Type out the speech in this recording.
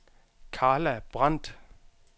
Karla Brandt